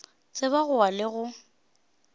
tseba go wa le go